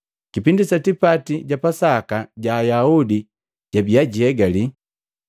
Kipindi sa tipati ja Pasaka ja Ayaudi jabiya jiegali.